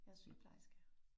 Jeg er sygeplejerske